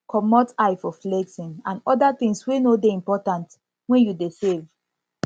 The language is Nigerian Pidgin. comot eye for flexing and oda things wey no dey important when you dey save